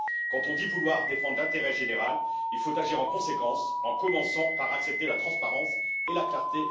Quand on dit vouloir défendre l'intérêt général, il faut agir en conséquence, en commençant par accepter la transparence et la clarté.